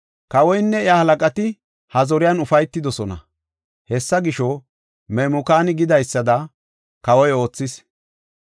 Kawoynne iya halaqati ha zoriyan ufaytidosona. Hessa gisho, Memukaani gidaysada kawoy oothis.